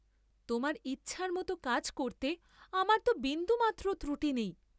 তোমার ইচ্ছার মত কাজ করতে আমার তো বিন্দুমাত্র ত্রুটি নেই।